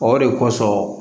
O de kosɔn